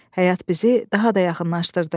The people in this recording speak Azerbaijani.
Həyat bizi daha da yaxınlaşdırdı.